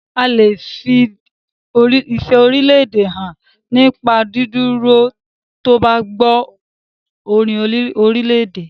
A lè fi ìfẹ́ orílédè hàn nípa dídúró tí o bá gbọ́ orin orílèdè.